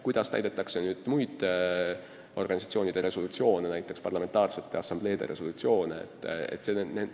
Kuidas täidetakse muid organisatsioonide resolutsioone, näiteks parlamentaarsete assambleede omi?